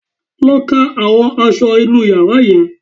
Lọ ká àwọn aṣọ inú yàrá yẹn